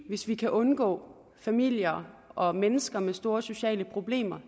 hvis vi kan undgå familier og mennesker med store sociale problemer